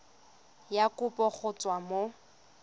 ya kopo go tswa mo